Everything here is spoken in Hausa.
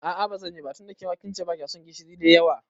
A'a bazanyi ba tunda kince kema bakyason gishiri da yawa.